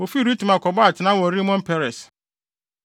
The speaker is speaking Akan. Wofii Ritma kɔbɔɔ atenae wɔ Rimon Peres.